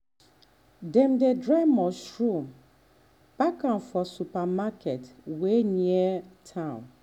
dem dey dry mushroom pack um am for um supermarket um wey near town.